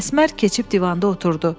Əsmər keçib divanda oturdu.